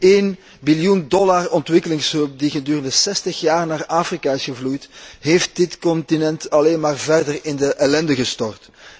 De 1 biljoen dollar ontwikkelingshulp die gedurende zestig jaar naar Afrika is gevloeid, heeft dit continent alleen maar verder in de ellende gestort.